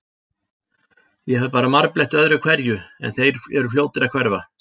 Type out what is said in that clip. Ég fæ bara marbletti öðru hverju, en þeir eru fljótir að hverfa.